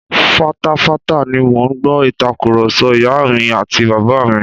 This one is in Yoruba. Fatafata ni mò ń gbọ́ Ìtàkùrọ̀sọ ìyá mi àti bàbá mi